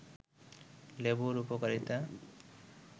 লেবুর উপকারিতা